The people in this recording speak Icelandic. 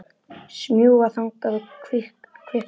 Smjúga þangað og kvikna.